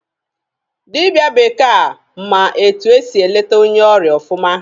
Dịbịa bekee a ma etu esị e leta onye ọrịa ọfụma.